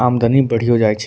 आमदनी बढ़ियो जाइ छे।